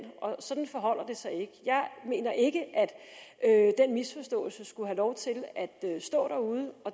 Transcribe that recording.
sådan forholder det sig ikke jeg mener ikke at den misforståelse skulle have lov til at stå derude